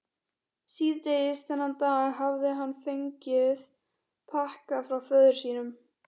Síðdegis þennan dag hafði hann fengið pakka frá föður sínum.